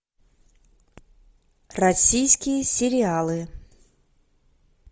российские сериалы